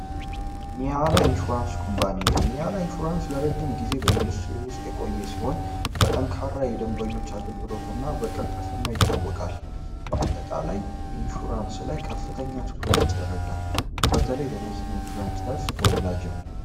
ኒያላ ኢንሹራንስ ኩባንያ ኒያላ ኢንሹራንስ ኩባንያ ለረጅም ጊዜ በኢንዱስትሪ ውስጥ የቆየ ሲሆን ለረጅም ጊዜ በጠንካራ የደንበኞች አገልግሎት እና በቅልጥፍናዊ ይታወቃል በአጠቃላይ ኢንሹራንስ ከፍተኛ ትኩረት ይደረጋል። በመኪና ኢንሹራንስ ዘርፍ ተወዳጅ ነው።